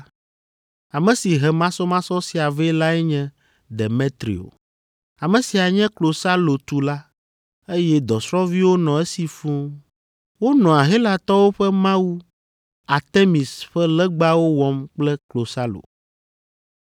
Ame si he masɔmasɔ sia vɛ lae nye Demetrio. Ame sia nye klosalotula, eye dɔsrɔ̃viwo nɔ esi fũu. Wonɔa Helatɔwo ƒe mawu, Artemis ƒe legbawo wɔm kple klosalo.